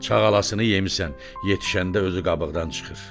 Çağalasını yemirsən, yetişəndə özü qabıqdan çıxır.